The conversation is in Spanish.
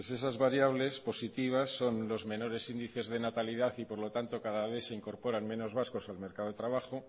entonces esas variables positivas son los menores índices de natalidad y por lo tanto cada vez se incorporan menos vascos al mercado de trabajo